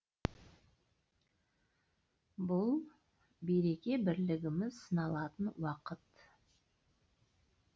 бұл береке бірлігіміз сыналатын уақыт